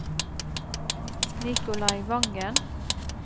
Nikolai Vangen